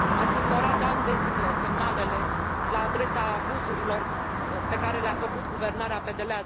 Ați ignorat ani de zile semnalele la adresa abuzurilor pe care le a făcut guvernarea PDL.